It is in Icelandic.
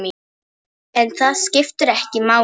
En það skiptir ekki máli.